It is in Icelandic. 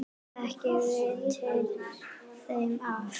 Ekki veitir þeim af.